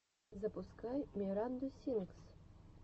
запускай миранду сингс